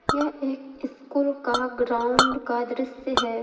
यह एक स्कूल का ग्राउंड का दृश्य है।